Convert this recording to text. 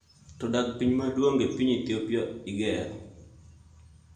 To dag pi maduong' e piny Ethiopia igero.